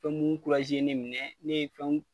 Pɔmu ye ne minɛ, ne ye fɛnw